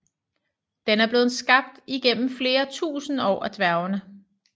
Den er blevet skabt igennem flere tusinde år af dværgene